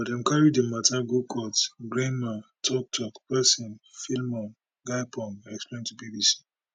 but dem carry di mata go court grnma tok tok pesin philemon gyapong explain to bbc